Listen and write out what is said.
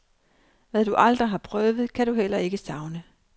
Hvad du aldrig har prøvet, kan du heller ikke savne.